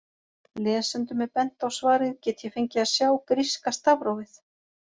Lesendum er bent á svarið Get ég fengið að sjá gríska stafrófið?